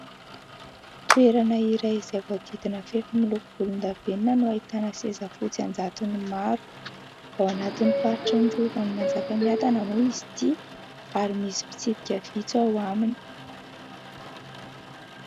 Toerana iray izay voadidina fefy miloko volondavenona no ahitana seza fotsy an-jatony maro. Ao anatin'ny faritry ny rovan'i Manjakamiadana moa izy ity ary misy mpitsidika vitsy ao aminy.